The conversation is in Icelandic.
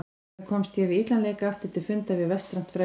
Þannig komst ég við illan leik aftur til fundar við vestrænt frelsi.